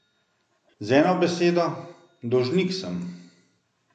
Z eno besedo, dolžnik sem.